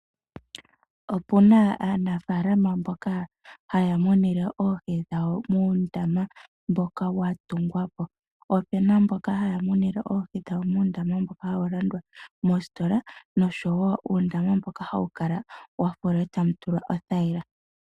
Opu na aanafaalama mboka haya munine oohi dhawo muundama mboka wa tungwa po. Po opu na mboka haya munine oohi dhawo muundama mboka hawu landwa moositola noshowo uundama mboka hawu kala wa fulwa e tawu tulwa othayila.